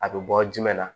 A bɛ bɔ jumɛn la